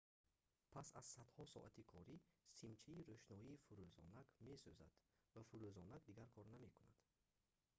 пас аз садҳо соати корӣ симчаи рӯшноӣ фурӯзонак месӯзад ва фурӯзонак дигар кор намекунад